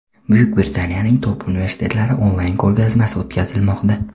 Buyuk Britaniyaning Top universitetlari onlayn ko‘rgazmasi o‘tkazilmoqda.